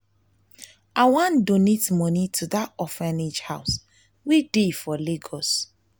i wan donate money to dat orphanage house wey dey for lagos